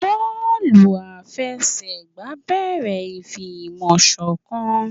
Bọọlu àfẹsẹ̀gbá ń béèrè ìfi ìmọ̀ sọ̀kan